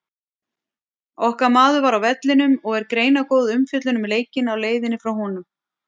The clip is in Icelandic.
Okkar maður var á vellinum og er greinargóð umfjöllun um leikinn á leiðinni frá honum.